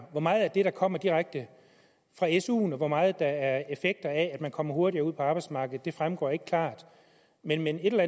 hvor meget af det der kommer direkte fra suen og hvor meget der er effekter af at man kommer hurtigere ud på arbejdsmarkedet fremgår ikke klart men et eller